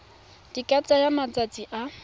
di ka tsaya malatsi a